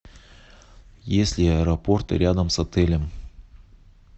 есть ли аэропорты рядом с отелем